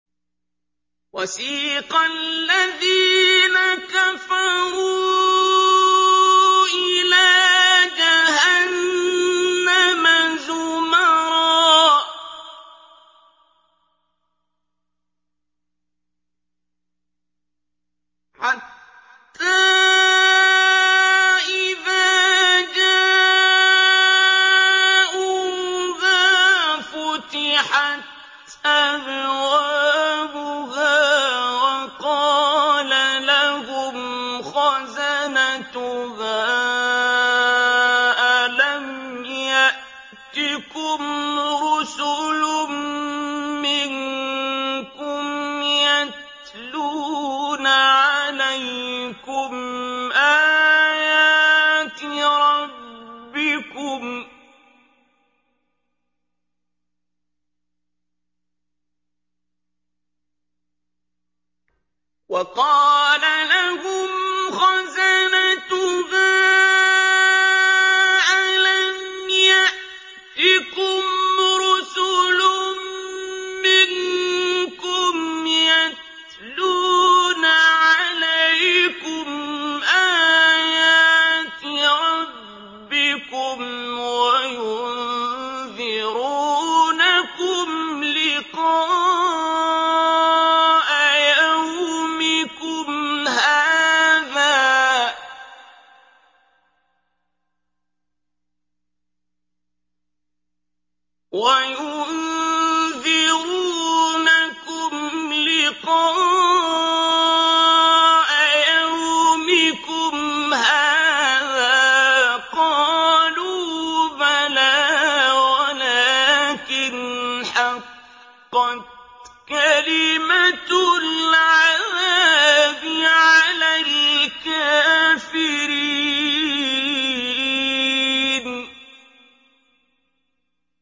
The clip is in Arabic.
وَسِيقَ الَّذِينَ كَفَرُوا إِلَىٰ جَهَنَّمَ زُمَرًا ۖ حَتَّىٰ إِذَا جَاءُوهَا فُتِحَتْ أَبْوَابُهَا وَقَالَ لَهُمْ خَزَنَتُهَا أَلَمْ يَأْتِكُمْ رُسُلٌ مِّنكُمْ يَتْلُونَ عَلَيْكُمْ آيَاتِ رَبِّكُمْ وَيُنذِرُونَكُمْ لِقَاءَ يَوْمِكُمْ هَٰذَا ۚ قَالُوا بَلَىٰ وَلَٰكِنْ حَقَّتْ كَلِمَةُ الْعَذَابِ عَلَى الْكَافِرِينَ